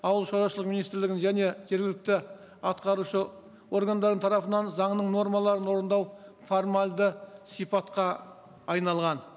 ауыл шаруашылығы министрлігінің және жергілікті атқарушы органдардың тарапынан заңның нормаларын орындау формальді сипатқа айналған